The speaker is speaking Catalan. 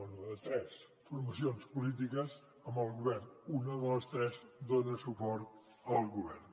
bé de tres formacions polítiques amb el govern una de les tres dona suport al govern